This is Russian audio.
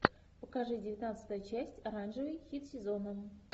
покажи девятнадцатая часть оранжевый хит сезона